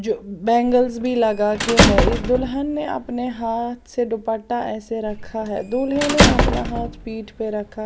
जो बैंगल्स भी लगा के है इस दुल्हन ने अपने हाथ से दुपट्टा ऐसे रखा है दूल्हे ने अपना हाथ पीठ पे रखा --